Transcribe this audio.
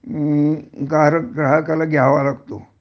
अं गार ग्राहकाला घ्यावा लागतो